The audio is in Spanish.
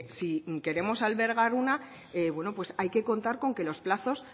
si queremos albergar una bueno hay que contar con que los plazos